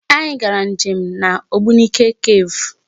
Anyị gara nje m na Ogbunike cave.